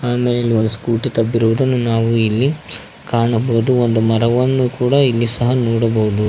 ಆಮೇಲೆ ಇಲ್ಲಿ ಒಂದು ಸ್ಕೂಟಿ ತಬ್ಬಿರುವುದನ್ನು ನಾವು ಇಲ್ಲಿ ಕಾಣಬಹುದು ಒಂದು ಮರವನ್ನು ಕೂಡ ಇಲ್ಲಿ ಸಹ ನೋಡಬಹುದು.